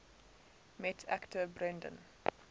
met actor brendan